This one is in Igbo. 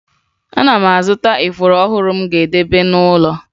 Ana m azụta ifuru ọhụrụ m ga-edebe n'ụlọ